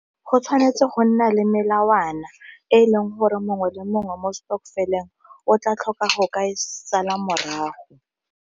Go tshwanetse go nna le melawana e e leng gore mongwe le mongwe mo stokvel-eng o tla tlhoka go ka e sala morago.